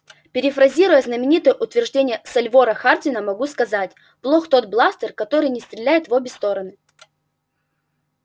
перефразируя знаменитое утверждение сальвора хардина могу сказать плох тот бластер который не стреляет в обе стороны